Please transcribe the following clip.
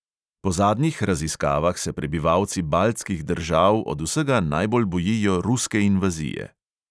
Po zadnjih raziskavah se prebivalci baltskih držav od vsega najbolj bojijo ruske invazije.